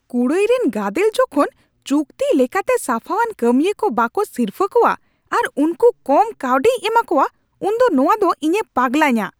ᱠᱩᱲᱟᱹᱭ ᱨᱮᱱ ᱜᱟᱫᱮᱞ ᱡᱚᱠᱷᱚᱱ ᱪᱩᱠᱛᱤ ᱞᱮᱠᱟᱛᱮ ᱥᱟᱯᱷᱟᱣᱟᱱ ᱠᱟᱹᱢᱤᱭᱟᱹ ᱠᱚ ᱵᱟᱠᱚ ᱥᱤᱨᱯᱷᱟᱹ ᱠᱚᱣᱟ ᱟᱨ ᱩᱱᱠᱩ ᱠᱚᱢ ᱠᱟᱹᱣᱰᱤᱭ ᱮᱢᱟ ᱠᱚᱣᱟ ᱩᱱ ᱫᱚ ᱱᱚᱶᱟ ᱫᱚ ᱤᱧᱮ ᱯᱟᱜᱞᱟᱧᱟ ᱾